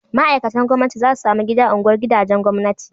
Ma'aikatan gwamnati za su samu gida a unguwar gidajen gwamnati